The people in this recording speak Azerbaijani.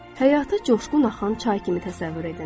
Həyatı coşqun axan çay kimi təsəvvür edin.